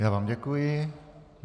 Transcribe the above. Já vám děkuji.